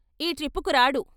ఈ ట్రిప్పుకి రాడు.